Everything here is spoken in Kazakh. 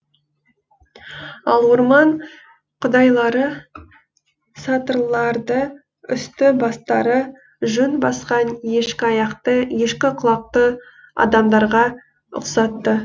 ал орман құдайлары сатырларды үсті бастары жүн басқан ешкі аяқты ешкі құлақты адамдарға ұқсатты